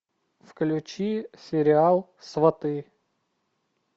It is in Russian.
включи сериал сваты